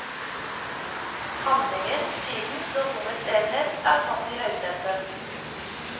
Handlingens, tidens og rommets enhet er satt i høysetet.